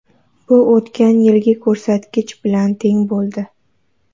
Bu o‘tgan yilgi ko‘rsatkich bilan teng bo‘ldi.